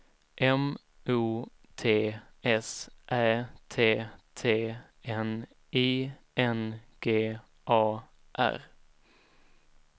M O T S Ä T T N I N G A R